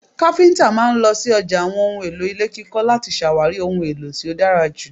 Kafinta máa ń lọ sí ọjà àwọn ohùn èlò ilé kíkọ láti ṣàwárí ohun èlò tí ó dára ju